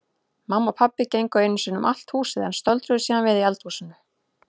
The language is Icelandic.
Mamma og pabbi gengu einu sinni um allt húsið en stöldruðu síðan við í eldhúsinu.